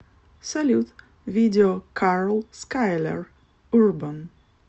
салют видео карл скайлер урбан